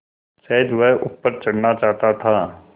शायद वह ऊपर चढ़ना चाहता था